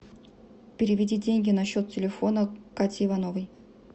переведи деньги на счет телефона кати ивановой